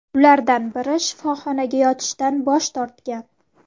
Ulardan biri shifoxonaga yotishdan bosh tortgan.